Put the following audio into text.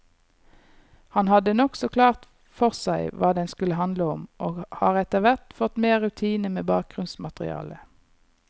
Han hadde nokså klart for seg hva den skulle handle om, og har etterhvert fått mer rutine med bakgrunnsmaterialet.